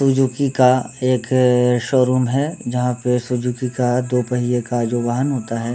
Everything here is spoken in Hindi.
सिज़ुकी का एक शोरूम है जहाँ पे सिज़ुकी का दो पहिये का जो वाहन होता है।